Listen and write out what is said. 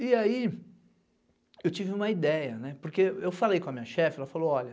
E aí eu tive uma ideia, porque eu falei com a minha chefe, ela falou, olha,